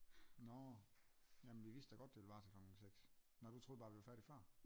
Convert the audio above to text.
Nå jamen vi vidste da godt det ville vare til klokken seks nå du troede bare vi var færdige før?